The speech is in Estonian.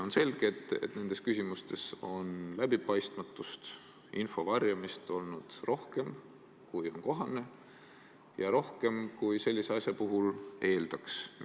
On selge, et nendes küsimustes on läbipaistmatust ja info varjamist olnud rohkem, kui on kohane, ja rohkem, kui sellise asja puhul eeldaks.